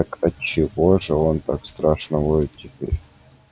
так отчего же он так страшно воет теперь